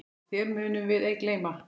Þér munum við ei gleyma.